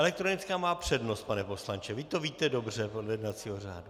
Elektronická má přednost, pane poslanče, vy to víte dobře podle jednacího řádu.